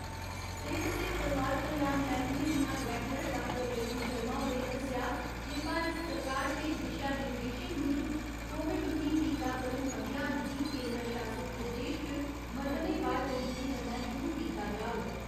सेहत ते परोआर कल्याण मैह्‌कमे दियां डरैक्टर डाक्टर रेणु शर्मा होरें दस्सेआ जे भारत सरकार दे दिशा निर्देशें मुजब, कोविड उन्नी टीकाकरण अभियान गी केन्दर शासित प्रदेश च मरह्‌लेवार तरीके कन्नै शुरु कीता जाग।